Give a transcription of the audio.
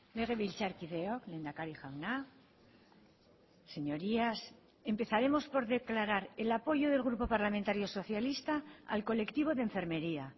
legebiltzarkideok lehendakari jauna señorías empezaremos por declarar el apoyo del grupo parlamentario socialista al colectivo de enfermería